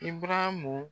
I baramu